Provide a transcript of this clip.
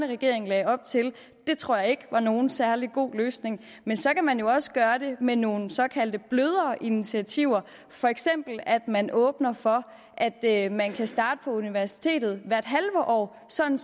regering lagde op til det tror jeg ikke var nogen særlig god løsning men så kan man jo også gøre det med nogle såkaldte blødere initiativer for eksempel ved at man åbner for at at man kan starte på universitetet hvert halve år sådan